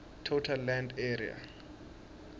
total land area